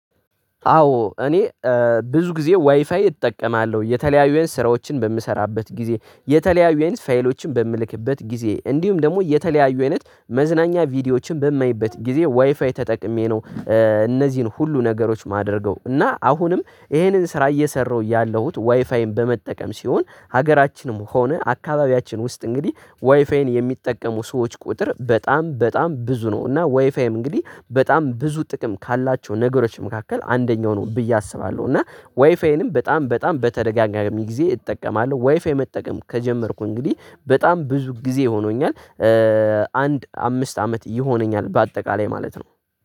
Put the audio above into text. አዎ እኔ ብዙ ጊዜ ዋይፋይ እጠቀማለሁ። የተለያዩ አይነት ስራዎችን በምሰራበት ጊዜ፣ የተለያዩ አይነት ፋይሎችን በምልክበት ጊዜ እንዲሁም ደግሞ የተለያዩ አይነት መዝናኛ ቪዲዮዎችን በማይበት ጊዜ ዋይፋይ ተጠቅሜ ነው እነዚህን ሁሉ ነገሮች ማደርገው እና አሁንም ይሄንን ስራ እየሰራሁ ያለሁት ዋይፋይን በመጠቀም ሲሆን ሀገራችንም ሆነ አካባቢያችን ውስጥ እንግዲህ ዋይፋይን የሚጠቀሙ ሰዎች ቁጥር በጣም በጣም ብዙ ነው እና ዋይፋይም እንግዲህ በጣም ብዙ ጥቅም ካላቸው ነገሮች መካከል አንደኛው ነው ብዬ አስባለሁ እና ዋይፋይንም በጣም በጣም በተደጋጋሚ ጊዜ እጠቀማለሁ። ዋይፋይ መጠቀም ከጀመርኩ እንግዲህ በጣም ብዙ ጊዜ ሆኖኛል። አንድ አምስት አመት ይሆነኛል በአጠቃላይ ማለት ነው።